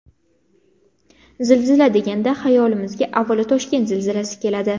Zilzila deganda xayolimizga avvalo Toshkent zilzilasi keladi.